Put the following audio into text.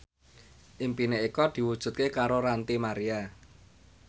impine Eko diwujudke karo Ranty Maria